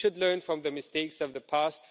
We should learn from the mistakes of the past.